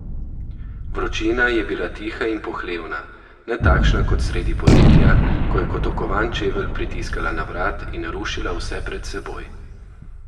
Vročina je bila tiha in pohlevna, ne takšna kot sredi poletja, ko je kot okovan čevelj pritiskala na vrat in rušila vse pred seboj.